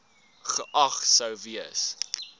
geag sou gewees